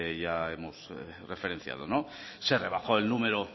que hemos referenciado se rebajó el número